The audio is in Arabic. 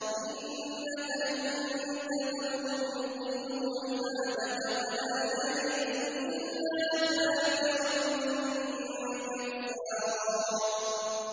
إِنَّكَ إِن تَذَرْهُمْ يُضِلُّوا عِبَادَكَ وَلَا يَلِدُوا إِلَّا فَاجِرًا كَفَّارًا